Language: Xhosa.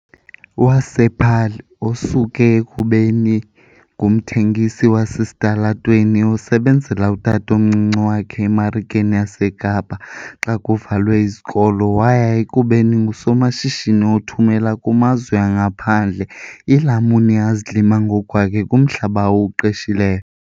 wasePaarl, osuke ekubeni ngumthengisi wasesitalatweni osebenzela utatomncinci wakhe eMarikeni yaseKapa xa kuvalwe izikolo waya ekubeni ngusomashishini othumela kumazwe angaphandle iilamuni azilima ngokwakhe kumhlaba awuqeshileyo.